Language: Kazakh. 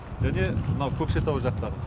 және мынау көкшетау жақтағы